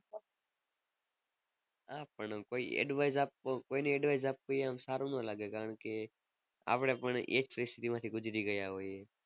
હા પણ કોઈ advice આપ કોઈને advice આપવી સારું ના લાગે કારણકે આપણે પણ એ જ પરિસ્થિતિ માં થી ગુજરી ગયા હોઈએ.